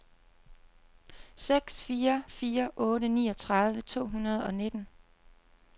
seks fire fire otte niogtredive to hundrede og nitten